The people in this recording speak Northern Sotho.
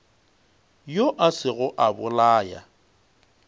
yo a sego a bolaya